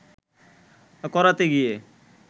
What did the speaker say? করাতে গিয়ে